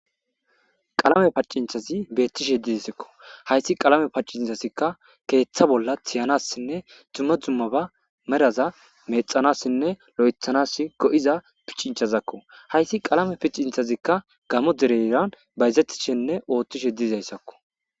Qalame paccincthazi beettishe didesikko hayssi qalame paccinthazikka keeththa bolla tiyanassinne dzumma dzummaba meraza mexanassinne lo'ethanas go'iza piccinchazakko hayssi qalame piccinthazikka gamo dereyran bayzetishenne ooththishe diizayssakko.